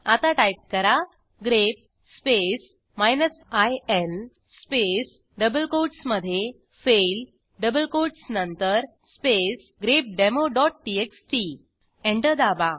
आता टाईप करा grep space in space double कोटसमधे फेल डबल कोटस नंतर स्पेस grepdemoटीएक्सटी एंटर दाबा